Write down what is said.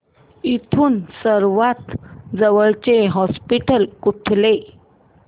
इथून सर्वांत जवळचे हॉस्पिटल कुठले